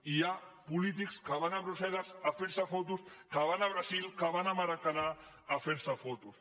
i hi ha polítics que van a brusselles a fer se fotos que van al brasil que van a ma racaná a fer se fotos